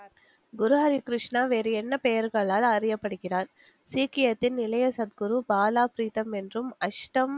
குருஹரி கிருஷ்ணா வேறென்ன பெயர்களால் அறியப்படுகிறார் சீக்கியத்தின் இளைய சத்குரு பாலாப்பிரித்தம் என்றும் அஷ்டம்